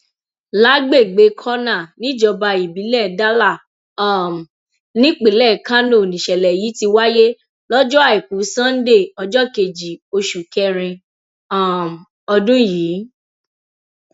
lágbègbè kurna níjọba ìbílẹ dala um nípínlẹ kánó nìṣẹlẹ yìí ti wáyé lọjọ àìkú sanńdé ọjọ kejì oṣù kẹrin um ọdún yìí